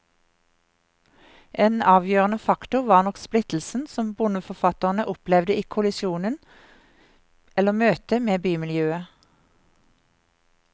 En avgjørende faktor var nok splittelsen som bondeforfatterne opplevde i kollisjonen, eller møtet, med bymiljøet.